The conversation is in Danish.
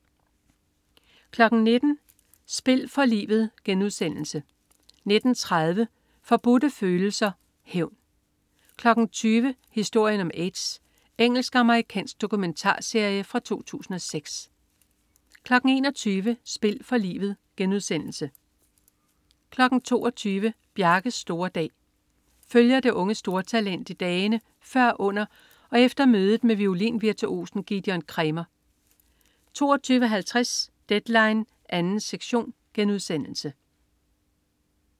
19.00 Spil for livet* 19.30 Forbudte Følelser. Hævn 20.00 Historien om aids. Engelsk-amerikansk dokumentarserie fra 2006 21.00 Spil for livet* 22.00 Bjarkes store dag. Følger det unge stortalent i dagene før under og efter mødet med violin-virtuosen Gidon Kremer 22.50 Deadline 2. sektion*